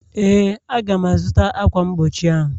Ee, Aga m-azụta ákwà mgbochi ahụ